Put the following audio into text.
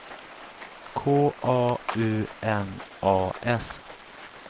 K A U N A S